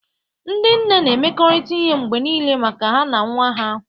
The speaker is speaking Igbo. Ndị nne na-emekọrịta ihe mgbe niile maka ha na nwa ha.